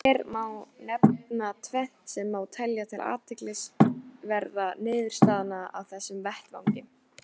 Hér má nefna tvennt sem má telja til athyglisverðra niðurstaðna af þessum vettvangi.